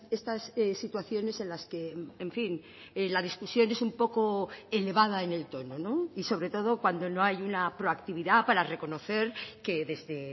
estas situaciones en las que en fin la discusión es un poco elevada en el tono y sobre todo cuando no hay una proactividad para reconocer que desde